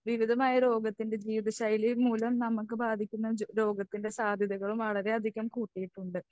വിധമായ രോഗത്തിൻ്റെ ജീവിതശൈലി മൂലം നമുക്ക് ബാധിക്കുന്ന രോഗത്തിൻ്റെ സാധ്യതകളും വളരെയധികം കൂട്ടിയിട്ടുണ്ട്.